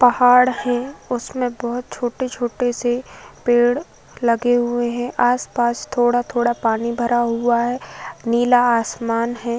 पहाड़ है। उसमें बहोत छोटे छोटे से पेड़ लगे हुए हैं। आसपास थोड़ा थोड़ा पानी भरा हुआ है। नीला आसमान है।